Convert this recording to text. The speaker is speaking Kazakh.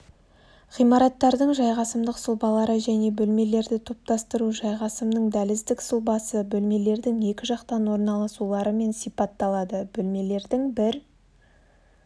ғимараттардың жайғасымдық сұлбалары және бөлмелерді топтастыру жайғасымның дәліздік сұлбасы бөлмелердің екі жақтан орналасуларымен сипатталады бөлмелердің бір